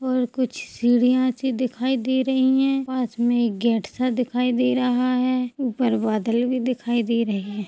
और कुछ सीढ़िया सी दिखाई दे रही है पास में गेट सा दिखाई दे रहा है ऊपर बादल भी दिखाई दे रहे हैं ।